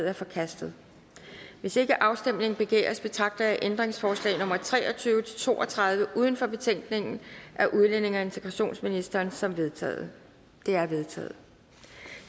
er forkastet hvis ikke afstemning begæres betragter jeg ændringsforslag nummer tre og tyve til to og tredive uden for betænkningen af udlændinge og integrationsministeren som vedtaget de er vedtaget